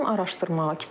Başladım araşdırmağa.